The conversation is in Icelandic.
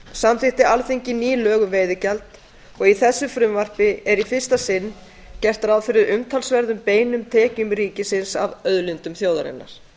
samþykkti alþingi ný lög um veiðigjald og í þessu frumvarpi er í fyrsta sinn gert ráð fyrir umtalsverðum beinum tekjum ríkisins af auðlindum þjóðarinnar